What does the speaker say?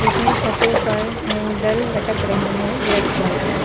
इसमें छतों पर हैंडल लटक रहे हैं रेड कलर के।